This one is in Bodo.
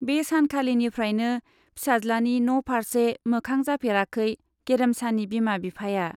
बे सानखालिनिफ्रायनो फिसाज्लानि न' फार्से मोखां जाफेराखै गेरेमसानि बिमा बिफाया।